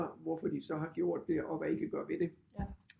Hvorfor de så har gjort det og hvad I kan gøre ved det